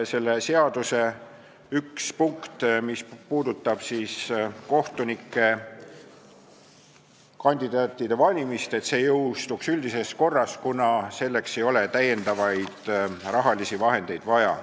Seaduse üks punkt, mis puudutab kohtunikukandidaatide valimist, jõustuks aga üldises korras, kuna selleks ei ole rahalisi lisavahendeid vaja.